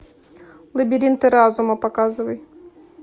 лабиринты разума показывай